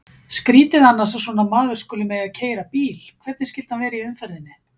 Skrýtið annars að svona maður skuli mega keyra bíl, hvernig skyldi hann vera í umferðinni?